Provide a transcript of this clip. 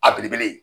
A belebele